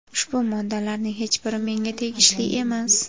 Ushbu moddalarning hech biri menga tegishli emas.